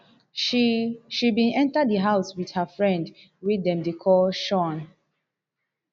she she bin enta di house wit her friend wey dem dey call shaun